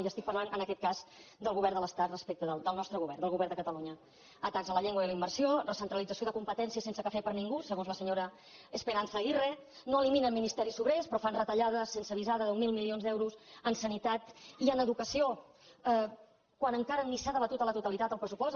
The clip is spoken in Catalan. i estic parlant en aquest cas del govern de l’estat respecte del nostre govern del govern de catalunya atacs a la llengua i a la immersió recentralització de competències sense cafè per a ningú segons la senyora esperanza aguirre no eliminen ministeris sobrers però fan retallades sense avisar de deu mil milions d’euros en sanitat i en educació quan encara ni s’ha debatut a la totalitat el pressupost